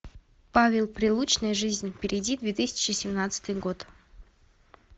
павел прилучный жизнь впереди две тысячи семнадцатый год